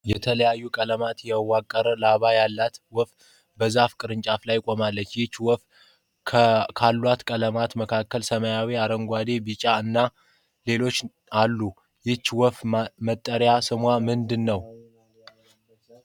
የተለያዩ ቀለማትን ያዋቀረ ላባ ያላት ወፍ በዛፍ ቅርንጫፍ ላይ ቆማለች። ይህቺ ወፍ ካሏት ቀለማት መካከል ሰማያዊ፣ አረንጓዴ፣ ቢጫ እና ሌሎችም አሉ። ይህቺ ወፍ መጠሪያ ስሟ ምንድን ነው?